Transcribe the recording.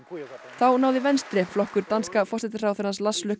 þá náði Venstre flokkur danska forsætisráðherrans Lars